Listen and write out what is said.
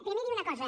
primer dir una cosa